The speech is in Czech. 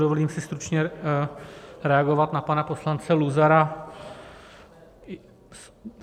Dovolím si stručně reagovat na pana poslance Luzara.